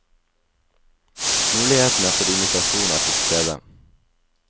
Mulighetene for immitasjon er til stede.